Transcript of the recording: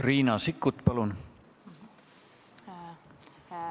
Riina Sikkut, palun!